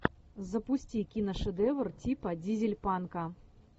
запусти киношедевр типа дизель панка